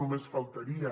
només faltaria